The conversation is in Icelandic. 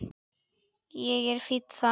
Ég er fínn þar.